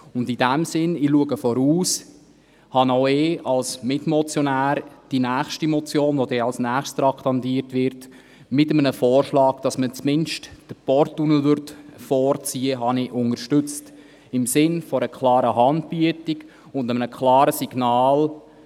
In dem Sinn – ich schaue voraus – habe auch ich als Mitmotionär die als Nächstes auf der Traktandenliste stehende Motion mit dem Vorschlag, dass man zumindest den Porttunnel vorziehen würde, unterstützt, im Sinn einer klaren Handbietung und eines klaren Signals: